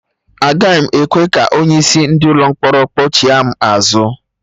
Agaghị m ekwe ka onye isi ndị ụlọ mkpọrọ kpọchigha m azụ